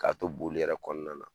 K'a to boli yɛrɛ kɔnɔna na